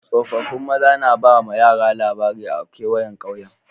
Tsofaffin maza na ba ma yara labarai a'kewayen kauyen.